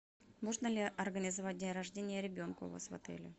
можно ли организовать день рождения ребенку у вас в отеле